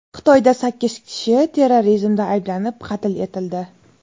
Xitoyda sakkiz kishi terrorizmda ayblanib, qatl etildi.